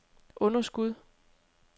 underskud